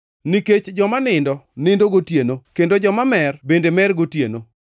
Nikech joma nindo, nindo gotieno, kendo joma mer bende mer gotieno.